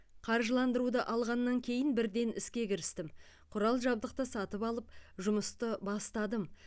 қаржыландыруды алғаннан кейін бірден іске кірістім құрал жабдықты сатып алып жұмысты бастадым